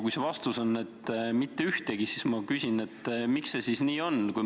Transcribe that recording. Kui vastus on, et mitte ühtegi, siis ma küsin, miks see siis nii on.